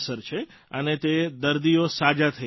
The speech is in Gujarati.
અને તે દર્દીઓ સાજા થઇ રહ્યા છે સર